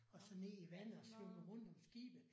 Og så ned i vandet og svømmede rundt om skibet